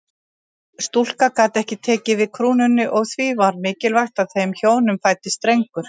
Stúlka gat ekki tekið við krúnunni og því var mikilvægt að þeim hjónum fæddist drengur.